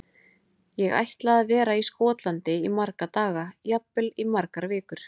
Ég ætla að vera í Skotlandi í marga daga, jafnvel í margar vikur.